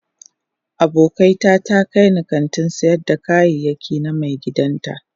Abokiata ta kai ni kantin sayar da kayayyaki na maigidan ta